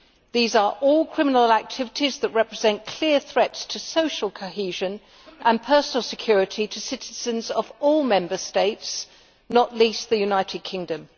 These are all criminal activities that represent clear threats to social cohesion and personal security for citizens of all Member States, not least the United Kingdom.